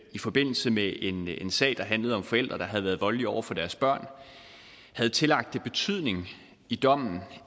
i forbindelse med en en sag der handlede om forældre der havde været voldelige over for deres børn havde tillagt det betydning i dommen